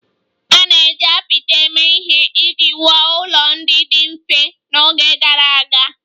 A na-eji apịtị eme ihe iji wuo ụlọ ndị dị mfe n'oge gara aga